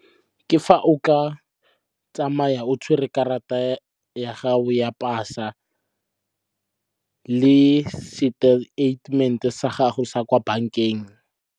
Ke fa o ka tsamaya o tshwere karata ya gago ya pasa le seteitemente sa gago sa kwa bankeng.